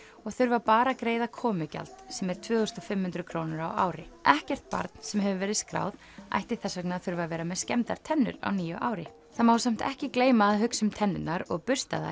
og þurfa bara að greiða komugjald sem er tvö þúsund og fimm hundruð krónur á ári ekkert barn sem hefur verið skráð ætti þess vegna að þurfa að vera með skemmdar tennur á nýju ári það má samt ekki gleyma að hugsa um tennurnar og